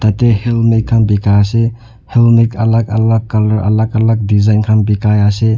te helmet khan bikai ase helmet alak alak color alak alak design khan bikai ase.